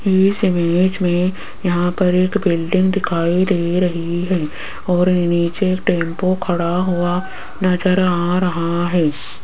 इस इमेज में यहां पर एक बिल्डिंग दिखाई दे रही है और नीचे टेंपू खड़ा हुआ नजर आ रहा है।